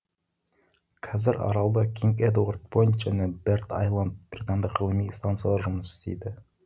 қазір аралда кинг эдуард пойнт және бэрд айланд британдық ғылыми станциялары жұмыс істейді